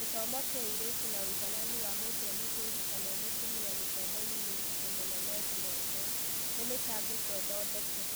Gĩthomo kĩa airĩtu na ũigananu wa mũndũ emũthuri kana emũtumia gĩthomo-inĩ nĩ ũritũ mũnene thĩ yothe, nĩ mĩtangĩko ĩthondeke.